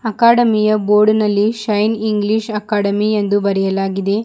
ಅಕಾಡಮಿಯ ಬೋರ್ಡಿನಲ್ಲಿ shine English academy ಎಂದು ಬರೆಯಲಾಗಿದೆ.